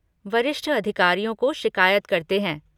वरिष्ठ अधिकारियों को शिकायत करते हैं।